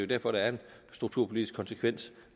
derfor der er en strukturpolitisk konsekvens